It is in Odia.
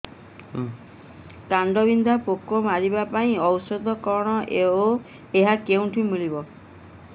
କାଣ୍ଡବିନ୍ଧା ପୋକ ମାରିବା ପାଇଁ ଔଷଧ କଣ ଓ ଏହା କେଉଁଠାରୁ ମିଳିବ